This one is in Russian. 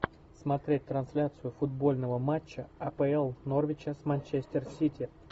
смотреть трансляцию футбольного матча апл норвича с манчестер сити